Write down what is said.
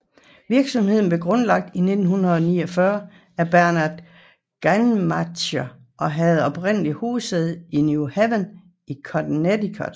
Virksomheden blev grundlagt i 1949 af Bernard Gantmacher og havde oprindeligt hovedsæde i New Haven i Connecticut